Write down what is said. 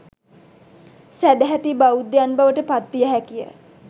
සැදැහැති බෞද්ධයන් බවට පත්විය හැකිය.